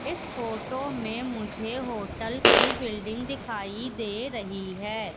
इस फोटो में मुझे होटल की बिल्डिंग दिखाई दे रही है।